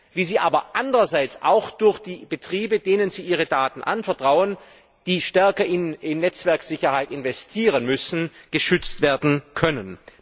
wie sie aber andererseits auch durch die Betriebe, denen sie ihre Daten anvertrauen, die stärker in Netzwerksicherheit investieren müssen, geschützt werden können.